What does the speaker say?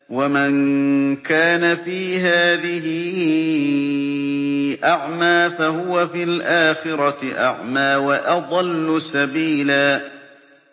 وَمَن كَانَ فِي هَٰذِهِ أَعْمَىٰ فَهُوَ فِي الْآخِرَةِ أَعْمَىٰ وَأَضَلُّ سَبِيلًا